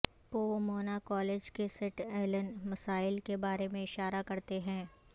Pomona college کے سیٹ ایلن مسائل کے بارے میں اشارہ کرتے ہیں